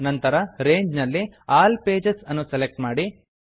ನಂತರ ರಂಗೆ ರೇಂಜ್ ನಲ್ಲಿ ಆಲ್ ಪೇಜಸ್ ಆಲ್ ಪೇಜಸ್ ಅನ್ನು ಸೆಲೆಕ್ಟ್ ಮಾಡಿ